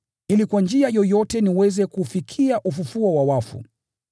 ili kwa njia yoyote niweze kufikia ufufuo wa wafu.